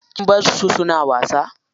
Kin barsu suna wasa?